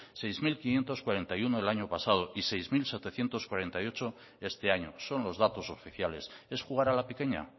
seis mil quinientos cuarenta y uno el año pasado y seis mil setecientos cuarenta y ocho este año son los datos oficiales es jugar a la pequeña